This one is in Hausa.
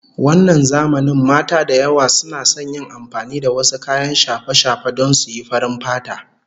Wannan zamanin mata da yawa suna son yin amfani da wasu kayan shafe-shafe don suyi farin fata